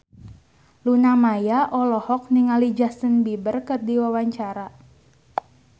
Luna Maya olohok ningali Justin Beiber keur diwawancara